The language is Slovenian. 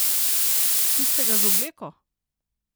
Tistega z obleko?